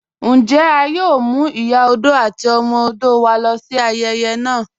Njẹ́ à yòò mú Ìyà ọdọ̀ àti ọmọ ọdọ̀ wá lọ sí ayèyè naa?